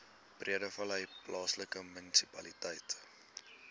breedevallei plaaslike munisipaliteit